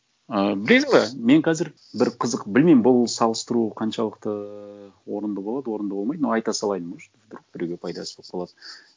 ы білесің бе мен қазір бір қызық білмеймін бұл салыстыру қаншалықты ыыы орынды болады орынды болмайды но айта салайын может вдруг біреуге пайдасы болып қалады